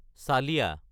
চালিয়া